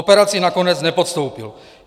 Operaci nakonec nepodstoupil.